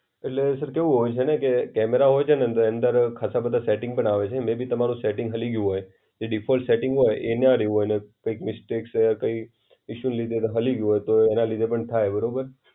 એટલે સર કેવું હોય છે ને કે કેમેરા હોય છે ને એની અંદર ખાસા બધા સેટિંગ પણ આવે છે, મેયબી તમારું સેટિંગ હલી ગ્યું હોય. એ ડિફોલ્ટ સેટિંગ હોય એમના કૈક મિસ્ટેક્સ કઈ હલી ગ્યું હોય, તો એના લીધે પણ થાય બરોબર.